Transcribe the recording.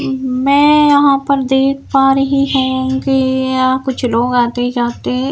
मैं यहां पर देख पा रही हूं कि यहां पर मुझे एक पेट्रोल टैंकी दिखाई दे रही है।